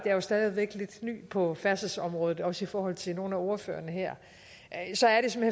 er jo stadig lidt ny på færdselsområdet også i forhold til nogle af ordførerne her